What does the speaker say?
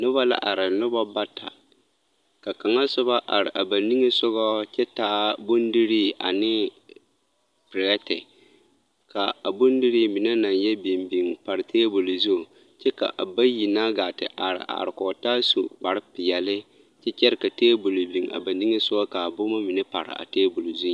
Nobɔ la are nobɔ bata ka kaŋa sobɔ are a ba niŋesogɔɔ kyɛ taa bondirii ane perɛɛti kaa a bodirii mine naŋ yɛ biŋbiŋ pare a tebol zu ka a bayi na gaa te are are kɔgtaa su kparrepeɛli kyɛ kyɛre ka tebol a ba niŋesogɔ kaa boma mine pere a tebol zuiŋ.